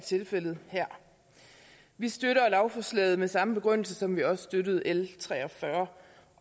tilfældet her vi støtter lovforslaget med samme begrundelse som vi også støttede l tre og fyrre